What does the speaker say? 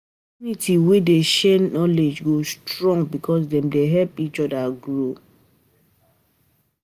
Community wey dey share knowledge go strong because dem dey help each other grow.